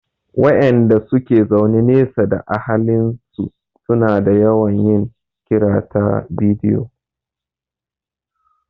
Waƴanda suke zaune nesa da ahalin su su na yawan yin kira ta bidiyo